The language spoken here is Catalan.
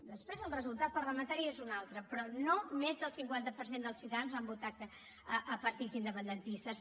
després el resultat parlamentari és un altre però no més del cinquanta per cent dels ciutadans van votar a partits independentistes